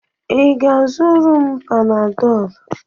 Ị ga-azụrụ m Panadọlụ?